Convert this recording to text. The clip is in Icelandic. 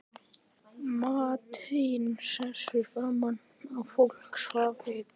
Marteinn settist fram á, fólk svaf enn.